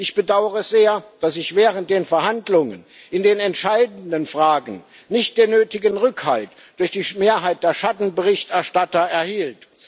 Ich bedaure sehr, dass ich während den Verhandlungen in den entscheidenden Fragen nicht den nötigen Rückhalt durch die Mehrheit der Schattenberichterstatter erhielt.